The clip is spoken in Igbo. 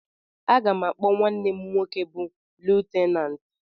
Aga m akpọ nwanne m nwoke bụ Lutenant